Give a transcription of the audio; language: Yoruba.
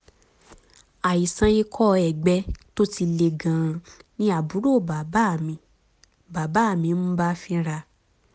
àìsàn ikọ́ ẹ̀gbẹ tó ti le gan-an ni àbúrò bàbá mi bàbá mi ń bá fínra